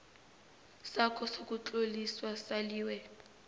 sakho sokutloliswa saliwe